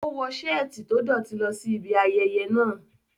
O wọ seeti to dọti lọ si ibi ayeye naa